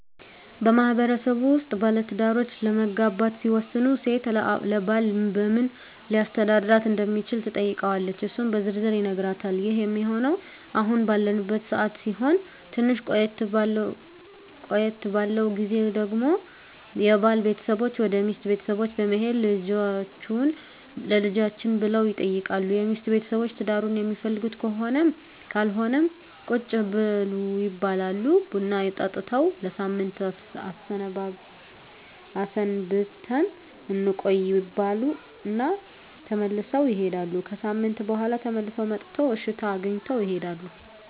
በማህበረሰቡ ውስጥ ባለትዳሮች ለመጋባት ሲወስኑ ሴት ለባል በምን ሊያስተዳድራት እንደሚችል ትጠይቀዋለች እሱም በዝርዝር ይነግራታል ይህ ሚሆነው አሁን ባለንበት ሰዓት ሲሆን ትንሽ ቆየት ባለው ግዜ ደግሞ የባል ቤተሰቦች ወደ ሚስት ቤተሰቦች በመሄድ ልጃቹህን ለልጃችን ብለው ይጠይቃሉ የሚስት ቤተሰቦች ትዳሩን ሚፈልጉት ከሆነም ካልሆነም ቁጭ በሉ ይባላሉ ቡና ጠጥተው ለሳምንት አስበንበት እንቆይ ይባሉ እና ተመልሰው ይሄዳሉ። ከሣምንት በኋላ ተመልሰው መጥተው እሽታ አግኝተው ይሄዳሉ።